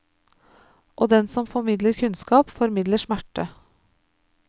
Og den som formidler kunnskap, formidler smerte.